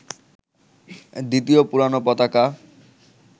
দ্বিতীয় পুরোনো পতাকা